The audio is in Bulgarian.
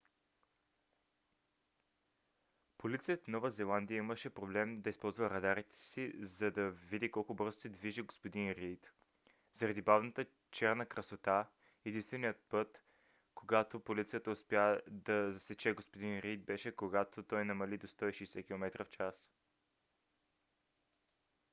полицията на нова зеландия имаше проблем да използва радарите си за да види колко бързо се движи г-н рийд заради бавната черна красота и единственият път когато полицията успя да засече г-н рийд беше когато той намали до 160 км/ч